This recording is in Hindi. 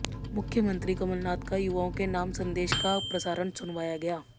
मुख्यमंत्री कमलनाथ का युवाओं के नाम संदेश का प्रसारण सुनवाया गया